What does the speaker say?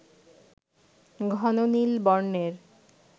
ঘন নীল বর্ণের